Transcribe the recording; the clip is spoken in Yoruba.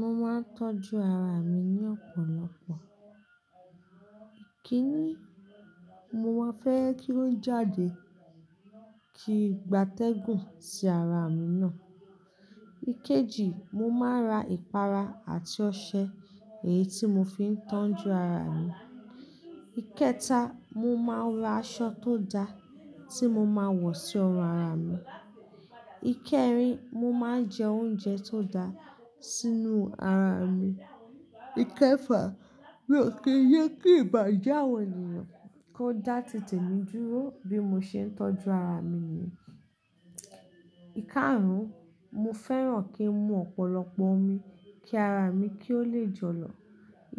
Mo máa ń tọ́jú ara mi ní ọ̀pọ̀lọpọ̀. Kíni, mo máa fẹ́ kí o jáde ki gbatẹ́gùn sí ara mi náà. Ikeji, mo máa ra ìpara àti ọṣẹ èyí tí mo fi ń tọ́jú ara mi. Ikẹta, mo máa ra aṣọ tó da tí mo máa ń wọ̀ sí ọrùn ara mi. Ikẹ́rín, mo máa ń jẹ oúnjẹ tó da sínú ara mi. Ìkẹfà, mí ò kí jé kí ìbàje awọ̀n ènìyàn, kó dà tìte mí dúró bí mo ṣe ń tọ́jú ara mi ni. Íkarùn, mo fẹ́ràn kí n mu ọ̀pọ̀lọpọ̀ omi kí ara mi kí ó le jọ̀lọ̀.